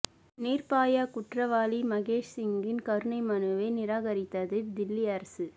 நிர்பயா குற்றவாளி முகேஷ் சிங்கின் கருணை மனுவை நிராகரித்தது தில்லி அரசு